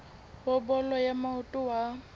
wa bolo ya maoto wa